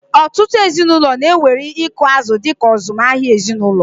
Ọtụtụ ezinụlọ na-ewere ịkụ azụ̀ dị ka azụmahịa ezinụlọ.